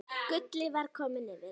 Gulli var kominn yfir.